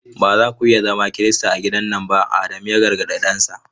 Ba za ku iya zama Kirista a gidan nan ba! Adamu ya gargadi dansa.